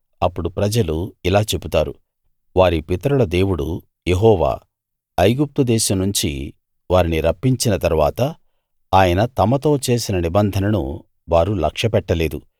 అప్పుడు ప్రజలు ఇలా చెబుతారు వారి పితరుల దేవుడు యెహోవా ఐగుప్తు దేశం నుంచి వారిని రప్పించిన తరువాత ఆయన తమతో చేసిన నిబంధనను వారు లక్ష్యపెట్టలేదు